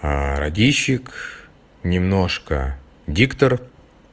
радийщик немножко диктор